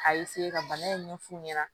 A ka bana in ɲɛf'u ɲɛna